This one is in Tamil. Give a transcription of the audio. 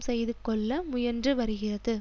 செய்து கொள்ள முயன்று வருகிறது